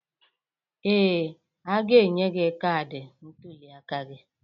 Ee, a ga-enye gị kaadị ntụliaka gi.